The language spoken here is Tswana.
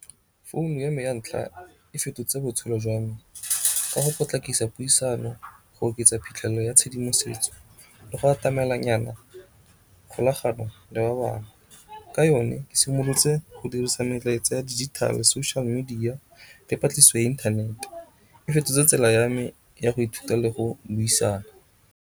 Founu ya me ya ntlha e fetotse botshelo jwa me ka go potlakisa puisano, go oketsa phitlhelelo ya tshedimosetso le go atamelang nyana kgolagano le ba bangwe. Ka yone ke simolotse go dirisa melaetsa ya dijithale, social media le patlisiso ya inthanete. E fetotse tsela ya me ya go ithuta le go le buisana.